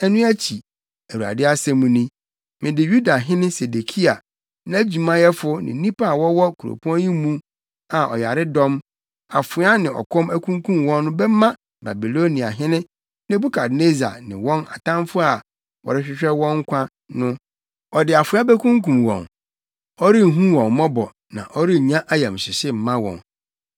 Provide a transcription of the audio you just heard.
Ɛno akyi, Awurade asɛm ni, mede Yudahene Sedekia, nʼadwumayɛfo ne nnipa a wɔwɔ kuropɔn yi mu a ɔyaredɔm, afoa ne ɔkɔm ankunkum wɔn no bɛma Babiloniahene Nebukadnessar ne wɔn atamfo a wɔrehwehwɛ wɔn nkwa no. Ɔde afoa bekunkum wɔn; ɔrenhu wɔn mmɔbɔ na ɔrennya ayamhyehye mma wɔn.’